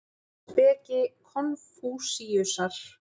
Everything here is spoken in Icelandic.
Speki Konfúsíusar.